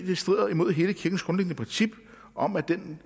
det strider imod hele kirkens grundlæggende princip om at den